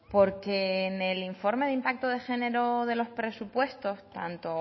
porque en el informe de impacto de género de los presupuestos tanto